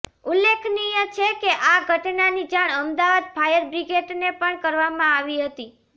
ઉલ્લેખનીય છે કે આ ઘટનાની જાણ અમદાવાદ ફાયર બ્રિગેડને પણ કરવામાં આવી હતી